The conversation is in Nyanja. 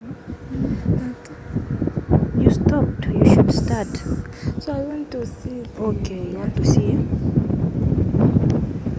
dziko la luxembourg lili ndi mbiri yakale kwambiri koma linadzipezela ufulu mchaka cha 1839